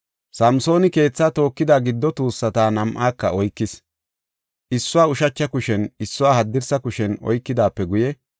Samsooni keethaa tookida giddo tuussata nam7aaka oykis. Issuwa ushacha kushen, issuwa, haddirsa kushen oykidaape guye,